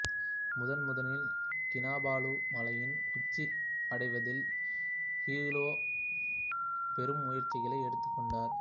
முதன் முதலில் கினபாலு மலையின் உச்சி அடைவதில் ஹியூ லோ பெரும் முயற்சிகளை எடுத்துக் கொண்டார்